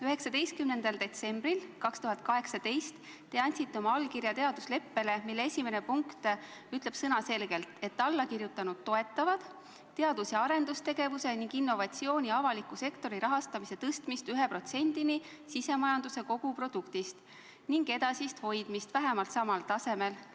19. detsembril 2018 te andsite oma allkirja teadusleppele, mille esimene punkt ütleb selge sõnaga, et allakirjutanud toetavad teadus- ja arendustegevuse ning innovatsiooni avaliku sektori rahastamise suurendamist 1%-ni sisemajanduse koguproduktist ning edasist hoidmist vähemalt samal tasemel.